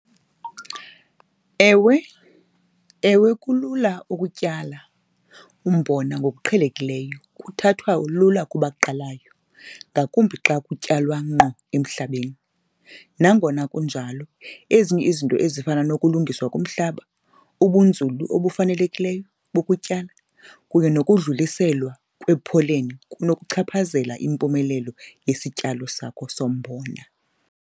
Ewe, ewe, kulula ukutyala umbona ngokuqhelekileyo kuthathwa lula kubaqalayo ngakumbi xa kutyalwa ngqo emhlabeni. Nangona kunjalo ezinye izinto ezifana nokulungiswa kumhlaba, ubunzulu obufanelekileyo bokutyala kunye nokudluliselwa kwepholeni kunokuchaphazela impumelelo yesityalo sakho sombona.